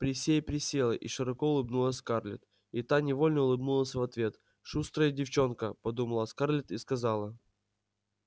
присей присела и широко улыбнулась скарлетт и та невольно улыбнулась в ответ шустрая девчонка подумала скарлетт и сказала